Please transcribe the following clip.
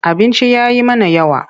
Abincin ya yi mana yawa.